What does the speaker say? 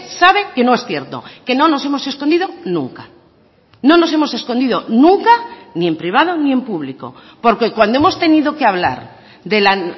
sabe que no es cierto que no nos hemos escondido nunca no nos hemos escondido nunca ni en privado ni en público porque cuando hemos tenido que hablar de la